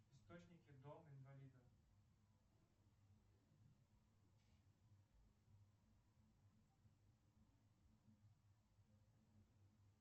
источники дом инвалидов